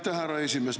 Aitäh, härra esimees!